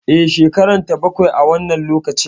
E, shekarata bakwai a wannan lokacin.